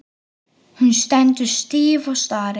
Hún stendur stíf og starir.